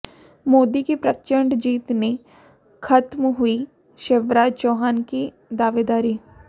मोदी की प्रचंड जीत ने खत्म हुई शिवराज चौहान की दावेदारी